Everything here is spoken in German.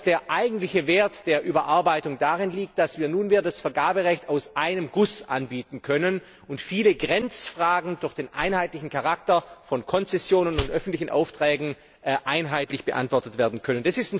Der eigentliche Wert der Überarbeitung liegt darin, dass wir nunmehr das Vergaberecht aus einem Guss anbieten können und viele Grenzfragen durch den einheitlichen Charakter von Konzessionen und öffentlichen Aufträgen einheitlich beantwortet werden können.